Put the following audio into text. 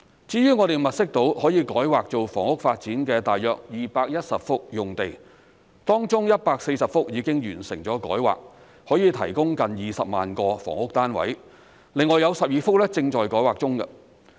至於我們物色到可以改劃作房屋發展的大約210幅用地，當中140幅已經完成改劃，可以提供近20萬個房屋單位，另外有12幅正在改劃中。